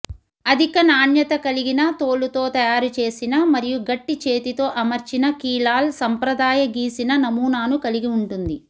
అధిక నాణ్యత కలిగిన తోలుతో తయారుచేసిన మరియు గట్టి చేతితో అమర్చిన కీలాల్ సంప్రదాయ గీసిన నమూనాను కలిగి ఉంటుంది